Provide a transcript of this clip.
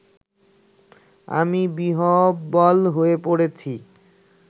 আমি বিহ্বল হয়ে পড়েছি